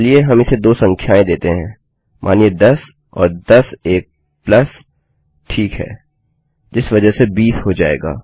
चलिए हम इसे दो संख्याएँ देते हैं मानिए कि 10 और 10 और एक प्लस ठीक हैजिस वजह से 20 हो जाएगा